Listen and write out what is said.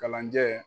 Kalanjɛ